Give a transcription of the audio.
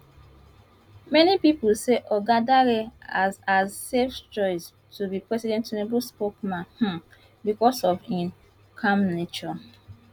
many pipo say oga dare as as safe choice to be president tinubu spokesman um becos of im calm nature